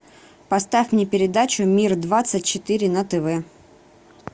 поставь мне передачу мир двадцать четыре на тв